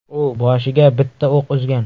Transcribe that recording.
U boshiga bitta o‘q uzgan.